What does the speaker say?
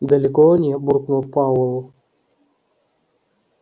далеко они буркнул пауэлл